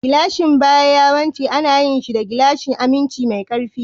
Gilashin baya yawanci ana yin shi da gilashin aminci mai ƙarfi.